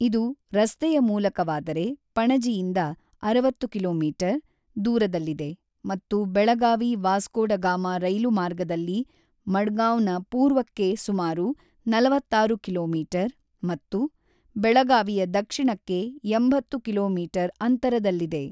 ಇದು ರಸ್ತೆಯ ಮೂಲಕವಾದರೆ ಪಣಜಿಯಿಂದ ಅರವತ್ತು ಕಿಲೋ ಮೀಟರ್ ದೂರದಲ್ಲಿದೆ ಮತ್ತು ಬೆಳಗಾವಿ ವಾಸ್ಕೋ ಡ ಗಾಮ ರೈಲು ಮಾರ್ಗದಲ್ಲಿ ಮಡ್ಗಾಂವ್‌ನ ಪೂರ್ವಕ್ಕೆ ಸುಮಾರು ನಲವತ್ತಾರು ಕಿಲೋ ಮೀಟರ್ ಮತ್ತು ಬೆಳಗಾವಿಯ ದಕ್ಷಿಣಕ್ಕೆ ಎಂಬತ್ತು ಕಿಲೋ ಮೀಟರ್ ಅಂತರದಲ್ಲಿದೆ.